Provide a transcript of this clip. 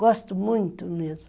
Gosto muito mesmo.